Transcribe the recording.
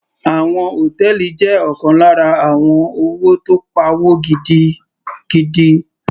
Òwò hòtẹ́ẹ̀lì jẹ́ ọ̀kan lára àwọn òwò tó pawó gidigidi.